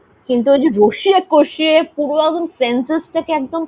কিন্তু যদি রসিয়ে কষিয়ে পুরো একদম sences টাকে একদম